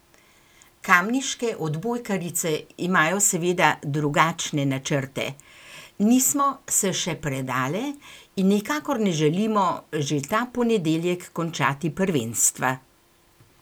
Kamniške odbojkarice imajo seveda drugačne načrte: "Nismo se še predale in nikakor ne želimo že ta ponedeljek končati prvenstva.